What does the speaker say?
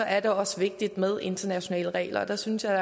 er det også vigtigt med internationale regler og der synes jeg